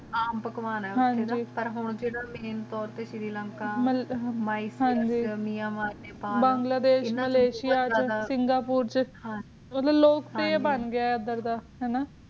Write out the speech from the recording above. ਆਮ ਪਕਵਾਨ ਹੈ ਹਾਨਾ ਮੈਂ ਤੋਰ ਤੇ ਸਿਰ੍ਰਿਲੰਕਾ ਮਾਯ੍ਸ੍ਰਕ ਮੀਆਂਵਾਲੀ ਬੰਗਲਾਦੇਸ਼ ਮਾਲਾਸਿਯਾ ਸਿੰਗੁਰ ਚ ਉਦਾਰ ਲੋਗ ਕਰੇ ਬਣ ਗਏ ਉਦਾਰ ਡੀ